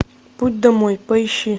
путь домой поищи